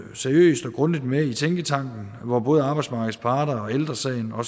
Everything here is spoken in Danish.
seriøst og grundigt med i tænketanken hvor både arbejdsmarkedets parter ældre sagen og